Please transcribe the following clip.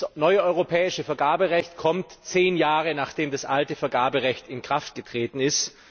Das neue europäische Vergaberecht kommt zehn Jahre, nachdem das alte Vergaberecht in Kraft getreten ist.